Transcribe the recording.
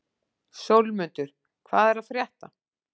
Sólmundur, hvað er að frétta?